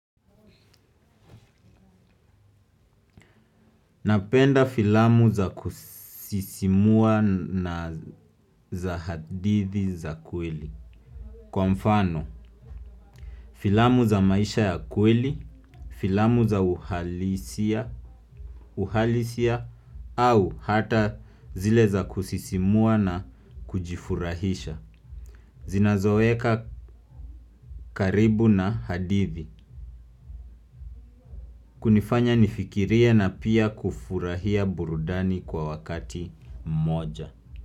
Napenda filamu za kusisimua na za hadithi za kweli. Kwa mfano, filamu za maisha ya kweli, filamu za uhalisia au hata zile za kusisimua na kujifurahisha. Zina zoweka karibu na hadithi. Kunifanya nifikirie na pia kufurahia burudani kwa wakati moja.